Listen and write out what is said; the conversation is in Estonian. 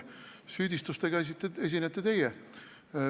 Süüdistustega esinete teie.